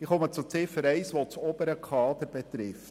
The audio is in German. Ich komme zu Ziffer 1, welche das obere Kader betrifft: